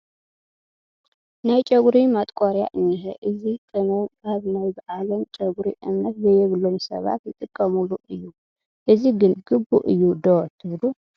ናይ ጨጉሪ ማጥቆርያ እኒሀ፡፡ እዚ ቅመም ኣብ ናይ ባዕሎም ጨጉሪ እምነት ዘይብሎም ሰባት ዝጥቀሙሉ እዩ፡፡ እዚ ግን ግቡእ እዩ ዶ ትብሉ?